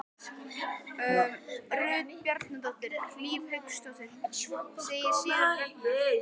Farnar: Farnir: Rut Bjarnadóttir, Hlíf Hauksdóttir Hvað segir Sigurður Ragnar?